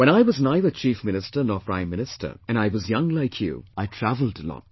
When I was neither Chief Minister nor Prime Minster, and I was young like you, I travelled a lot